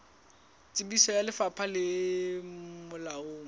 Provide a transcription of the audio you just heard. tsebiso ya lefapha le molaong